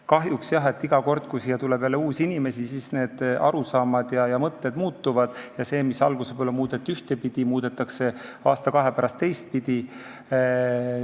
Kahjuks jah, iga kord, kui siia tuleb uusi inimesi, siis need arusaamad ja mõtted muutuvad ning seda, mida alguses võib-olla muudeti ühtepidi, muudetakse aasta-kahe pärast teistpidi.